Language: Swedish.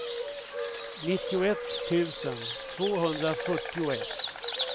nittioett tusen tvåhundrafyrtioett